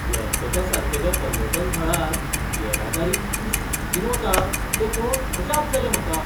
गँगटॉका सारकेल्या पर्यटन थळार येरादारी कितली शिस्तीन वता तें पळोवन अजाप जालें म्हाका.